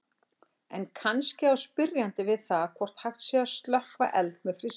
En kannski á spyrjandi við það hvort hægt sé að slökkva eld með frystingu.